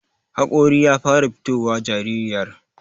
haƙori ya fara fitowa jaririyar